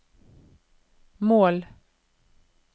mål